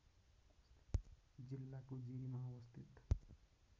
जिल्लाको जिरीमा अवस्थित